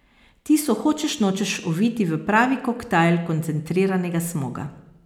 Ti so hočeš nočeš oviti v pravi koktajl koncentriranega smoga.